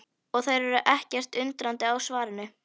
Og þær eru ekkert undrandi á svarinu.